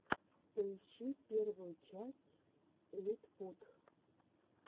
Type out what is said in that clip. поищи первую часть литпут